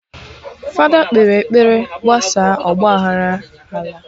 Fada kpere ekpere gbasaa ọgba aghara ala